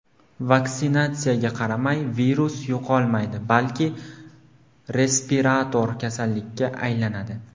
Vaksinatsiyaga qaramay, virus yo‘qolmaydi, balki respirator kasallikka aylanadi.